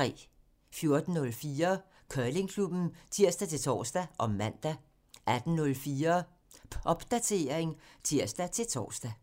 14:04: Curlingklubben (tir-tor og man) 18:04: Popdatering (tir-tor)